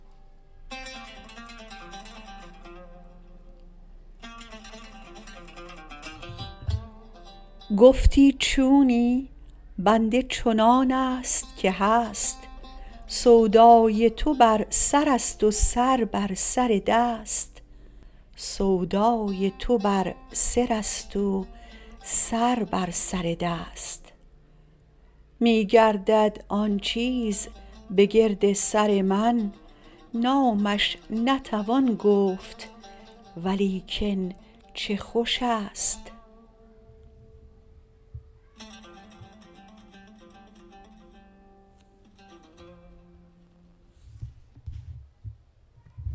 گفتی چونی بنده چنانست که هست سودای تو بر سر است و سر بر سر دست میگردد آن چیز بگرد سر من نامش نتوان گفت ولیکن چه خوش است